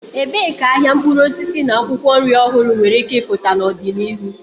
Ebee ka ahịa mkpụrụ osisi na akwụkwọ nri ọhụrụ nwere ike ịpụta n'ọdịnihu?